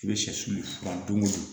I bɛ sɛsu fura don o don